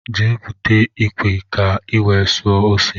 Jee búte ikwe ka i wee suo ose!!!